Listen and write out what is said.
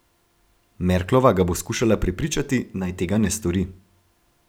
Merklova ga bo skušala prepričati, naj tega ne stori.